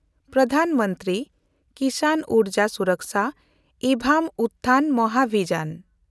Pradhan Mantri Kisan Urja Suraksha evam Utthan ᱢᱟᱦᱟᱵᱷᱤᱭᱟᱱ